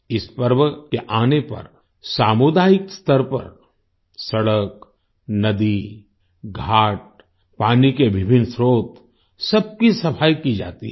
इस पर्व के आने पर सामुदायिक स्तर पर सड़क नदी घाट पानी के विभिन्न स्त्रोत सबकी सफाई की जाती है